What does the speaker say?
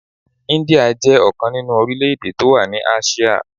India jẹ́ ọ̀kan nínú orílè-èdè tó wà ní Áṣíà.